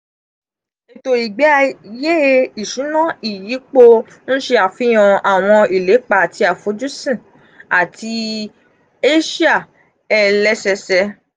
eto igbeaye isuna iyipo nse afihan awon ilepa ati afojusun ati asia elesese.